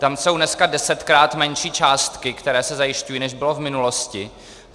Tam jsou dneska desetkrát menší částky, které se zajišťují, než byly v minulosti.